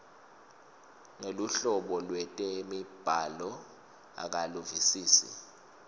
neluhlobo lwetemibhalo akaluvisisi